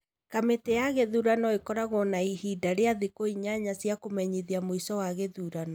Kamiti ya ithurano ĩkoragwo na ihinda rĩa thikũ inyanya cia kũmenyithia mũico wa gĩthurano.